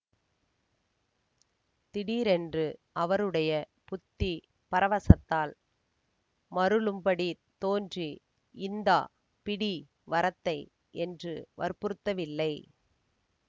திடீரென்று அவருடைய புத்தி பரவசத்தால் மருளும்படித் தோன்றி இந்தா பிடி வரத்தை என்று வற்புறுத்தவில்லை